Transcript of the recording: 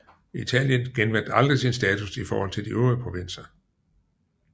Italien genvandt aldrig sin status i forhold til de øvrige provinser